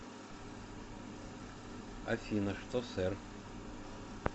афина что сэр